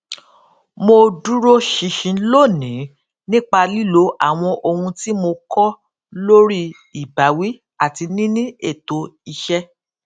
mo duro ṣinṣin lónìí nipa lilo awọn ohun ti mo kọ lori ibawi ati nini eto iṣẹ